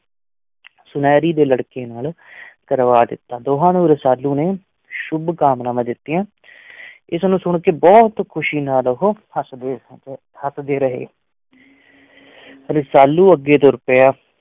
ਸੁਨਿਆਰੇ ਦੇ ਲੜਕੇ ਨਾਲ ਕਰਵਾ ਦਿੱਤਾ, ਦੋਹਾਂ ਨੂੰ ਰਸਾਲੂ ਨੇ ਸ਼ੁੱਭ-ਕਾਮਨਾਵਾਂ ਦਿੱਤੀਆਂ ਇਸਨੂੰ ਸੁਣ ਕੇ ਬਹੁਤ ਖ਼ੁਸ਼ੀ ਨਾਲ ਉਹ ਹੱਸਦੇ ਹੱਸਦੇ ਰਹੇ ਰਸਾਲੂ ਅੱਗੇ ਤੁਰ ਪਿਆ।